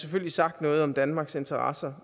selvfølgelig sagt noget om danmarks interesser